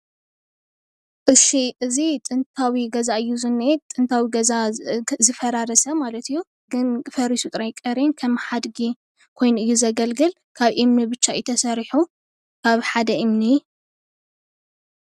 እዙይ ጥንታዊ ገዛ እዩ ዝኒሀ ጥንታዊ ገዛ ዝፈራረሰ ማለት እዩ፣ ግን ፈሪሱ ጥራይ ቀርዩ ከም ሓድጊ ኮይኑ እዩ ዘገልግል፣ ካብ እምኒ ብቻ እዩ ተሰሪሑ ካብ ሓደ እምኒ